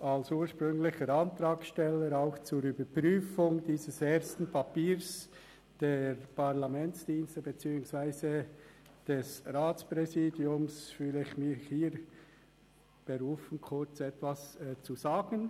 Als ursprünglicher Antragssteller und auch zur Überprüfung dieses ersten Papiers der Parlamentsdienste beziehungsweise des Ratspräsidiums fühle ich mich hier berufen, kurz etwas zu sagen.